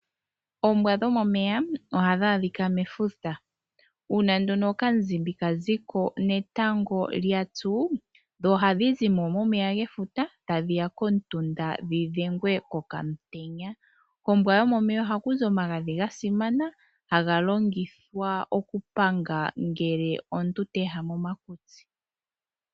Oombwa dhomomeya ohadhi andika mefuta. Uuna okamzimbi kaziko netango lyatsu ohadhi zimo momeya tadhiya kokamutunda dhi dhengwe kokamutenya. Kombwa yomomeya ohakuzi omagadhi gasimana ha galongithwa okupanga uuna omuntu teehama omakutsi.